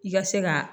I ka se ka